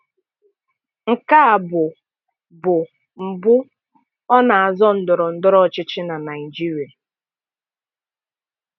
Nke a bụ bụ mbụ ọ na-azọ ndọrọndọrọ ọchịchị na Naịjirịa